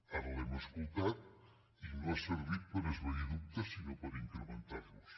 ara l’hem escoltat i no ha servit per esvair dubtes sinó per incrementar los